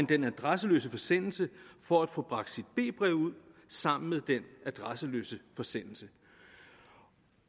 den adresseløse forsendelse for at få bragt sit b brev ud sammen med den adresseløse forsendelse